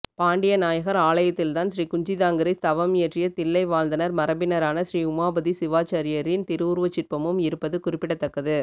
பாண்டிய நாயகர் ஆலயத்தில்தான் ஸ்ரீகுஞ்சிதாங்க்ரி ஸ்தவம் இயற்றிய தில்லை வாழந்தணர் மரபினரான ஸ்ரீஉமாபதி சிவாசார்யரின் திருவுருவச் சிற்பமும் இருப்பது குறிப்பிடத்தக்கது